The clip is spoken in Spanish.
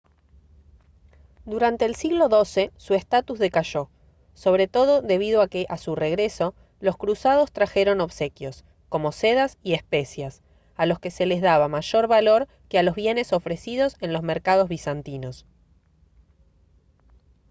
durante el siglo xii su estatus decayó sobre todo debido a que a su regreso los cruzados trajeron obsequios como sedas y especias a los que se les daba mayor valor que a los bienes ofrecidos en los mercados bizantinos